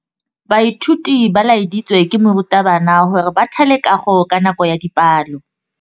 Baithuti ba laeditswe ke morutabana gore ba thale kagô ka nako ya dipalô.